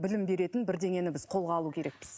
білім беретін бірдеңені біз қолға алу керекпіз